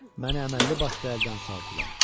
Məni əməlli-başlı əldən saldılar.